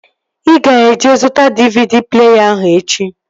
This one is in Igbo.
Ị ga-eje zụta DVD pleeya ahụ echi!